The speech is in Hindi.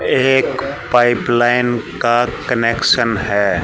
एक पाइप लाइन का कनेक्शन है।